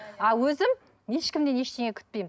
а өзім ешкімнен ештеңе күтпеймін